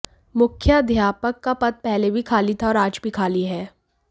मुख्याध्यापक का पद पहले भी खाली था और आज भी खाली है